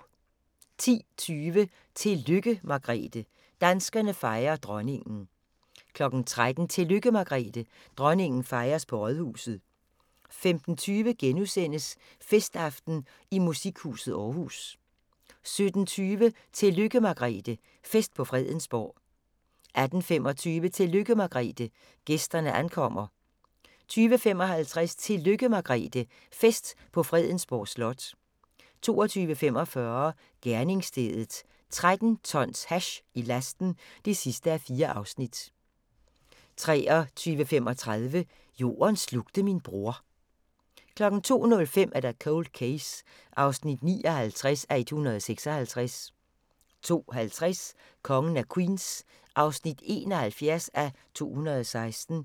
10:20: Tillykke Margrethe – danskerne fejrer Dronningen 13:00: Tillykke Margrethe – dronningen fejres på rådhuset 15:20: Festaften i Musikhuset Aarhus * 17:20: Tillykke Margrethe – fest på Fredensborg 18:25: Tillykke Margrethe – gæsterne ankommer 20:55: Tillykke Margrethe – fest på Fredensborg Slot 22:45: Gerningsstedet – 13 tons hash i lasten (4:4) 23:35: Jorden slugte min bror 02:05: Cold Case (59:156) 02:50: Kongen af Queens (71:216)